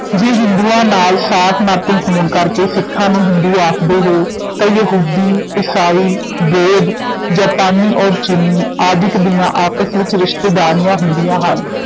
ਜੇ ਹਿੰਦੂਆਂ ਨਾਲ ਸਾਕ ਨਾਤੇ ਹੋਣ ਕਰਕੇ ਸਿੱਖਾਂ ਨੂੰ ਹਿੰਦੂ ਆਖਦੇ ਹੋ, ਤਾਂ ਯਹੂਦੀ, ਈਸਾਈ, ਬੋਧ, ਜਾਪਾਨੀ ਔਰ ਚੀਨੀ ਆਦਿਕ ਦੀਆਂ ਆਪਸ ਵਿਚ ਰਿਸ਼ਤੇਦਾਰੀਆਂ ਹੁੰਦੀਆਂ ਹਨ,